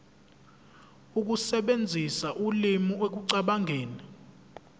ukusebenzisa ulimi ekucabangeni